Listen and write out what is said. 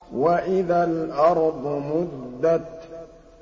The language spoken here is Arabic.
وَإِذَا الْأَرْضُ مُدَّتْ